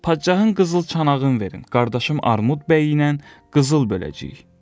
Padşahın qızıl çanağın verin, qardaşım Armud bəyiylə qızıl böləcəyik.